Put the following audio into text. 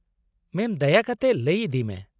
ᱢᱮᱢ ᱫᱟᱭᱟ ᱠᱟᱛᱮ ᱞᱟᱹᱭ ᱤᱫᱤᱭ ᱢᱮ ᱾